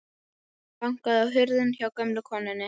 Hann bankaði á hurðina hjá gömlu konunni.